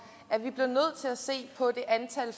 at at se på det antal